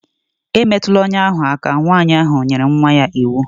E metụla ọnya ahụ aka!. Nwaanyị ahụ nyere nwa ya iwu